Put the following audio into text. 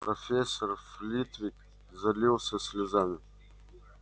профессор флитвик залился слезами